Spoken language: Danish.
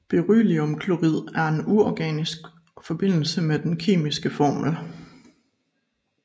Berylliumklorid er en uorganisk forbindelse med den kemiske formel